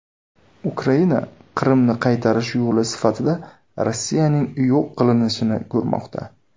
Ukraina Qrimni qaytarish yo‘li sifatida Rossiyaning yo‘q qilinishini ko‘rmoqda.